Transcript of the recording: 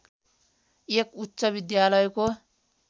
एक उच्च विद्यालयको